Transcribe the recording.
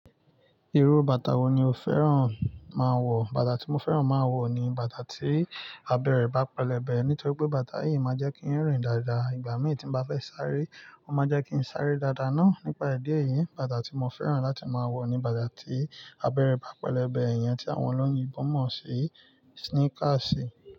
Irú bàtà wo ni o fẹ́ràn máa wọ̀? Bàtà tí mo fẹ́ràn máa wọ̀ ni bàtà tí abẹ rẹ bá pẹlẹbẹ. Nítorí pé bàtà yìí máa jẹ́ kí n rìn dáadáa. Ìgbà mii ti n bá fẹ́ sáré, ó máa n jẹ́ kí n sáré dáadáa naá. Nípa idi eyìí, bàtà tí mo fẹ́ràn láti máa wọ̀ ni bàtà tí abẹrẹ bá pẹlẹbẹ. Eeya tí àwọnoloyin yii bọ̀ mọ̀ se esneakers.